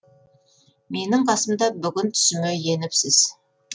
менің қасымда бүгін түсіме еніпсіз